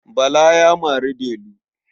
Bala ya mari Delu.